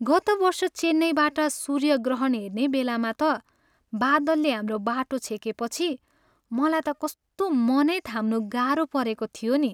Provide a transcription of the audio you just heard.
गत वर्ष चेन्नईबाट सूर्यग्रहण हेर्ने बेलामा त बादलले हाम्रो बाटो छेकेपछि मलाई त कस्तो मनै थाम्नु गाह्रो परेको थियो नि।